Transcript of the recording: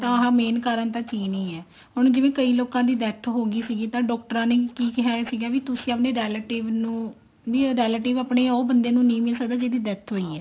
ਤਾਂ ਇਹ main ਕਾਰਣ ਤਾਂ ਚੀਨ ਹੀ ਹੈ ਹੁਣ ਜਿਵੇਂ ਕਈ ਲੋਕਾਂ ਦੀ death ਹੋਗੀ ਸੀਗੀ ਤਾਂ ਡਾਕਟਰਾਂ ਨੇ ਕੀ ਕਿਹਾ ਸੀਗਾ ਵੀ ਤੁਸੀਂ ਆਪਣੇ relative ਨੂੰ ਨਹੀਂ ਉਹ relative ਆਪਣੇ ਉਹ ਬੰਦੇ ਨੂੰ ਨਹੀਂ ਮਿਲ ਸਕਦਾ ਜਿਹਦੀ death ਹੋਈ ਹੈ